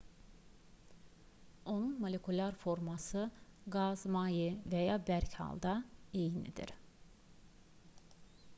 onun molekulyar forması qaz maye və ya bərk halda eynidir